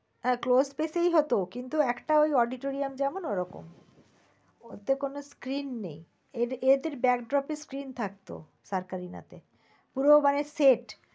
হ্যাঁ close space ই হত কিন্তু একটা ওই auditorium যেমন ওই রকম। ওতে কোন screen নেয়। এদের back drop র screen থাকত। পুরো মানে set